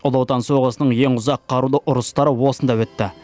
ұлы отан соғысының ең ұзақ қарулы ұрыстары осында өтті